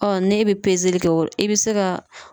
n'e bɛ pezeli kɛ o i bɛ se ka